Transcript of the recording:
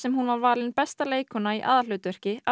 hún var valin besta leikkona í aðalhlutverki af